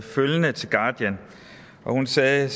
guardian hun sagde